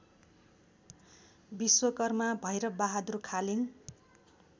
Vishwakarma Bhairab Bahadur Khaling